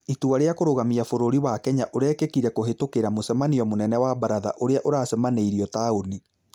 Itua rĩa kũrũgamia Bũrũri wa Kenya ũrekĩkire kũhĩtũkira mũcemanio mũnene wa baratha urĩa ũracamanĩirio taũni